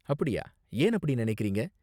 அப்படியா. ஏன் அப்படி நினைக்கறீங்க?